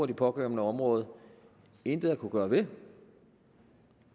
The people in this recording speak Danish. det pågældende område intet har kunnet gøre ved